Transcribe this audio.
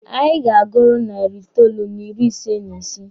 Anyị ga-aguru narị itoolu n'ịrị ise n'ise.